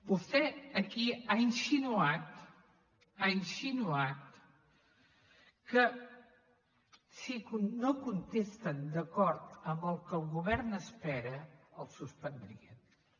vostè aquí ha insinuat ha insinuat que si no contesten d’acord amb el que el govern espera el suspendríem